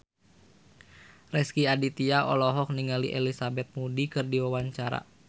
Rezky Aditya olohok ningali Elizabeth Moody keur diwawancara